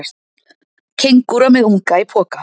Kengúra með unga í poka.